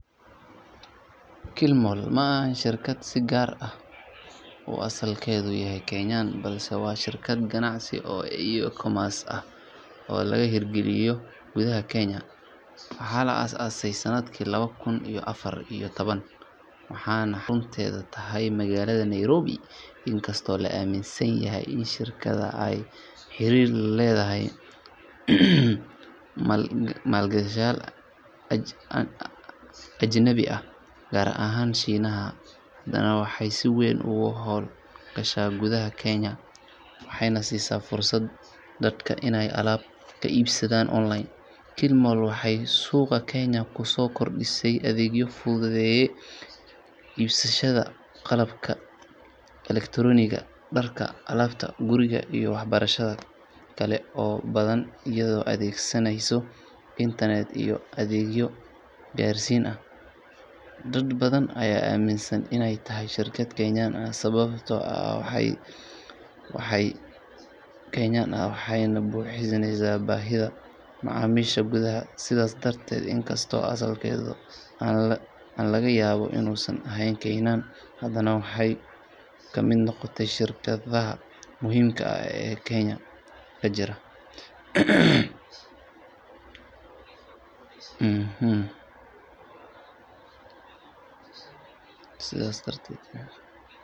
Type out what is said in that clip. Kilimall ma ahan shirkad si gaar ah u asalkeedu yahay Kenyan balse waa shirkad ganacsi oo e-commerce ah oo laga hirgeliyey gudaha Kenya. Waxaa la aasaasay sanadkii laba kun iyo afar iyo toban waxaana xarunteedu tahay magaalada Nairobi. Inkastoo la aaminsan yahay in shirkaddu ay xiriir la leedahay maalgashadayaal ajnabi ah gaar ahaan Shiinaha, haddana waxay si weyn uga howl gashaa gudaha Kenya waxayna siisa fursad dadka inay alaab kala iibsadaan online. Kilimall waxay suuqa Kenya kusoo kordhisay adeegyo fududeeya iibsashada qalabka elektaroonigga, dharka, alaabta guriga iyo waxyaabo kale oo badan iyadoo adeegsanaysa internet iyo adeegyo gaarsiin ah. Dad badan ayaa aaminsan inay tahay shirkad Kenyan ah sababtoo ah waxay si buuxda uga shaqeysaa gudaha dalka, shaqaaleysiiso dad Kenyan ah waxayna buuxisaa baahida macaamiisha gudaha. Sidaas darteed inkastoo asalkeedu aan laga yaabo inuusan ahayn Kenyan, hadana waxay ka mid noqotay shirkadaha muhiimka ah ee Kenya ka jira.